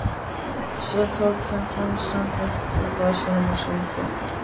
Svo tók hann gemsann upp úr vasanum og hringdi.